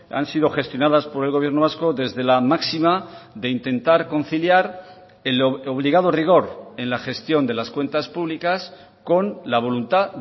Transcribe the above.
han sido gestionadas por el gobierno vasco desde la máxima de intentar conciliar el obligado rigor en la gestión de las cuentas públicas con la voluntad